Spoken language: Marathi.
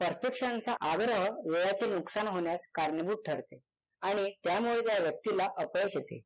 perfection चा आग्रह वेळाचे नुकसान होण्यास कारणीभूत ठरते आणि त्यामुळे त्या व्यक्तीला अपयश येते.